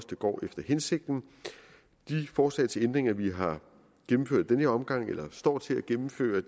det går efter hensigten de forslag til ændringer vi har gennemført i den her omgang eller står til at gennemføre